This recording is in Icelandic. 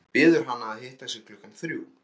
Biður hana að hitta sig klukkan þrjú.